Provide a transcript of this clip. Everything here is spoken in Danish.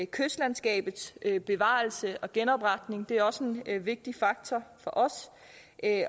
kystlandskabets bevarelse og genopretning er også en vigtig faktor for os